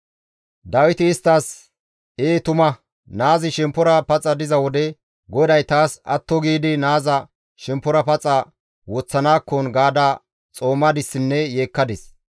Dawiti isttas, «Ee tuma, naazi shemppora paxa diza wode, ‹GODAY taas atto giidi naaza shemppora paxa woththanaakkon gaada xoomadissinne yeekkadis.›